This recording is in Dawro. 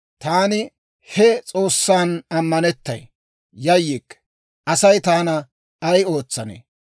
taani he S'oossan ammanettay; yayyikke. Asay taana ay ootsanee?